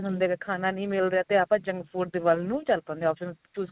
ਹੁੰਦੇ ਕਿ ਖਾਣਾ ਨੀ ਮਿਲ ਰਿਹਾ ਤੇ ਆਪਾਂ junk food ਦੇ ਵਲ ਨੂੰ ਚੱਲ ਪੈਂਦੇ ਆ options choose ਕ਼ਰ